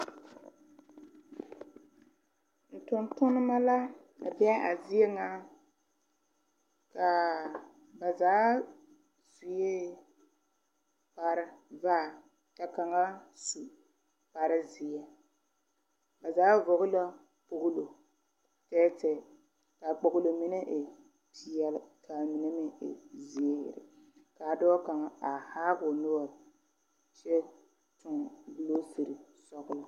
Tontoneba la a be a zie ŋa ka ba zaa sue kparre vaare ka kaŋa su kparre seɛ ba zaa vɔgle la kpogelo tɛɛtɛɛ ka Kpogelo mine e peɛle ka a mine meŋ e zeere ka a dɔɔ kaŋa a haa o noɔre kyɛ toŋ gɔlosere sɔglɔ.